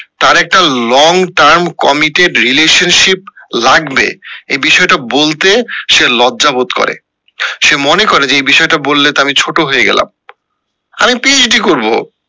তার একটা long-term committed relationship লাগবে এই বিষয়টা বলতে সে লজ্জা বোধ করে এ মনে করে যে এই বিষয়টা বললে তো আমি ছোট হয়ে গেলাম আমি করবো PHD